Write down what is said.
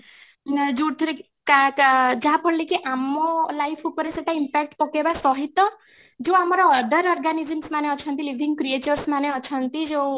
ଯୋଉଥିରେ କି , ଯାହା ଫଳରେ କି ଆମ life ଉପରେ ସେଟା impact ପକେଇବା ସହିତ ଯୋଉ ଆମର other organisms ମାନେ ଅଛନ୍ତି living creatures ମାନେ ଅଛନ୍ତି ଯୋଉ